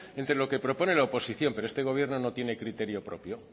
entre lo que propone la oposición pero este gobierno no tiene criterio propio